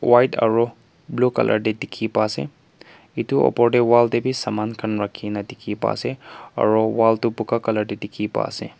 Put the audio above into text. white aru blue colour te dikhi pai ase etu opor te wall khan te bi saman rakhi kena dikhi pai ase aru wall toh blue colour te dikhi pa ase.